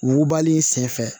Wugubali sen fɛ